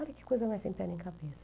Olha que coisa mais sem pé nem cabeça.